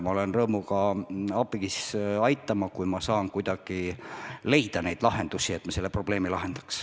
Ma olen rõõmuga valmis aitama, kui ma saan kuidagi leida probleemile lahendusi.